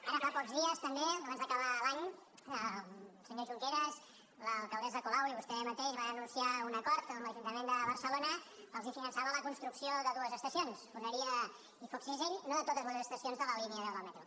ara fa pocs dies també abans d’acabar l’any el senyor junqueras l’alcaldessa colau i vostè mateix van anunciar un acord on l’ajuntament de barcelona els finançava la construcció de dues estacions foneria i foc cisell no de totes les estacions de la línia deu del metro